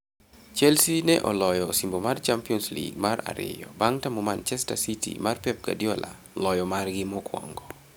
Chelsea ne oloyo osimbo mar Champions League mar ariyo, bang' tamo Manchester City mar Pep Guardiola loyo margi mokwongo.